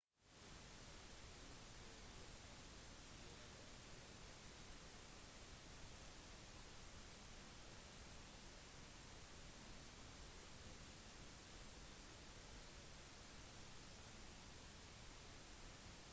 med endringen fra 400 til 800 meter har hastigheten blitt av mindre betydning mens utholdenhet er en absolutt nødvendighet